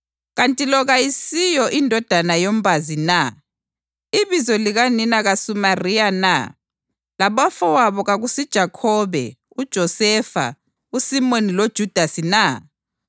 Kanti lo kayisiyo indodana yombazi na? Ibizo likanina kasuMariya na, labafowabo kakusiJakhobe, uJosefa, uSimoni loJudasi na?